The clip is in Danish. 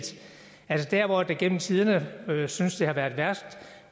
gennem tiderne synes det har været værst